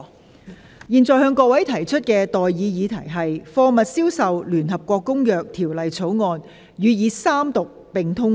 我現在向各位提出的待議議題是：《貨物銷售條例草案》予以三讀並通過。